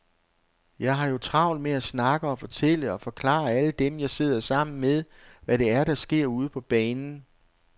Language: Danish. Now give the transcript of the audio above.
Jeg har jo travlt med at snakke og fortælle og forklare alle dem, jeg sidder sammen med, hvad det er, der sker ude på banen.